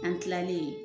An kilalen